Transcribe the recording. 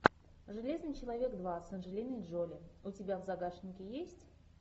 железный человек два с анджелиной джоли у тебя в загашнике есть